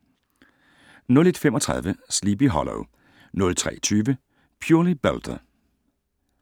01:35: Sleepy Hollow 03:20: Purely Belter